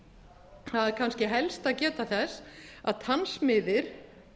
það er kannski helst að geta þess að tannsmiðir